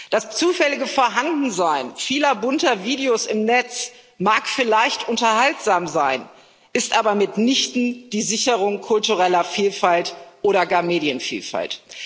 Das zufällige Vorhandensein vieler bunter Videos im Netz mag vielleicht unterhaltsam sein, ist aber mitnichten die Sicherung kultureller Vielfalt oder gar von Medienvielfalt.